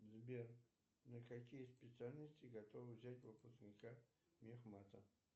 сбер на какие специальности готовы взять выпускника мехмата